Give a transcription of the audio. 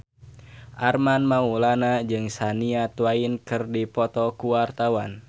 Armand Maulana jeung Shania Twain keur dipoto ku wartawan